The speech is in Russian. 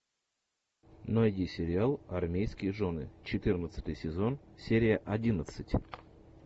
найди сериал армейские жены четырнадцатый сезон серия одиннадцать